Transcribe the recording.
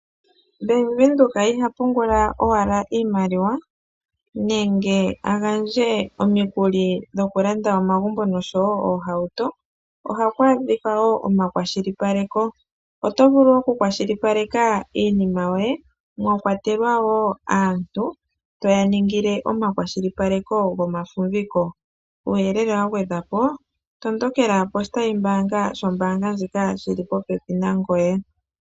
Bank Windhoek iha pungula owala iimaliwa nenge agandje omikuli dhokulanda omagumbo noshowo oohauto, ohaku adhika woo omakwashilipaleko, oto vulu okukwashilipaleka iinima yoye mwa kwatelwa woo aantu toya ningile omakwashilipaleko gomafumviko uuyelele wa gwedhwa po, tondokela poshitayi mbaanga shombaanga ndjika shili popepi nangoye.